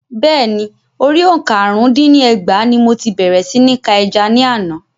Bẹ́ẹ̀ni, orí òǹkà àrún dín ní ẹgbàá ní mo ti bèrè sí ní ka ẹja ní àná.